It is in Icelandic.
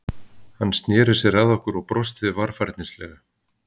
Hann sneri sér að okkur og brosti varfærnislega.